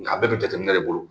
A bɛɛ bɛ jateminɛ de bolo